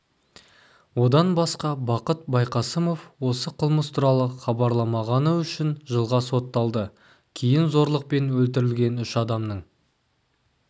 одан басқа бақыт байқасымов осы қылмыс туралы хабарламағаны үшін жылға сотталды кейін зорлықпен өлтірілген үш адамның